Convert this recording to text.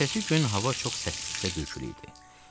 Ertəsi gün hava çox səssiz və bürküliydi.